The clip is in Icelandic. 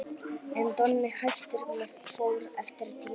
En Donni hættir með Þór eftir tímabilið.